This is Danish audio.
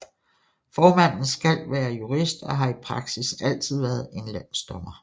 Formanden skal være jurist og har i praksis altid været en landsdommer